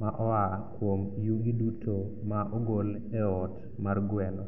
ma oa kuom yugi duto ma ogol e ot mar gweno.